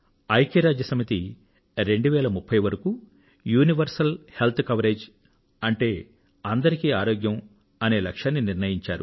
ఐక్యరాజ్యసమితి 2030 వరకూ universal health coverage అంటే అందరికీ ఆరోగ్యం అనే లక్ష్యాన్ని నిర్ణయించారు